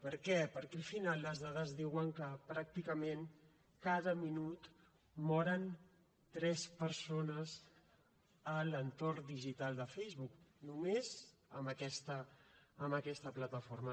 per què perquè al final les dades diuen que pràcticament cada minut moren tres persones a l’entorn digital de facebook només en aquesta plataforma